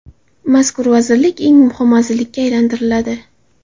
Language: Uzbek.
Mazkur vazirlik eng muhim vazirlikka aylantiriladi.